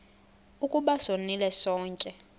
ukuba sonile sonke